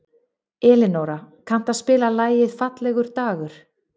Elinóra, kanntu að spila lagið „Fallegur dagur“?